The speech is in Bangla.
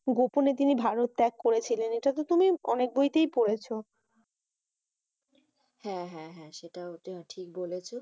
গোপনে তিনি ভারত ত্যাগ করেছেন? এটা তো তুমি অনেক বইতেই পড়েছো। হ্যাঁ হ্যাঁ হ্যাঁ সেটা ঠিক বলেছ।